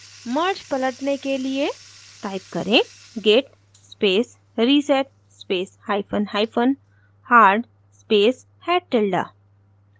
merge पलटने के लिए type करें git space reset space hyphen hyphen hard space head tilde